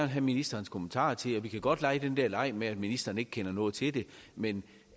have ministerens kommentar til vi kan godt lege den der leg med at ministeren ikke kender noget til det men